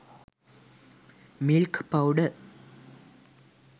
milk powder